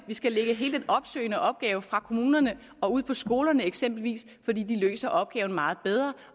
vi skal lægge hele den opsøgende opgave fra kommunerne og ud på skolerne eksempelvis fordi de løser opgaven meget bedre